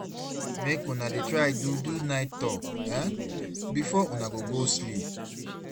mek una dey try do do nite tok um bifor una go go sleep